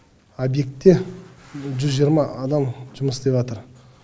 объектте жүз жиырма адам жұмыс істеватыр